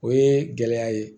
O ye gɛlɛya ye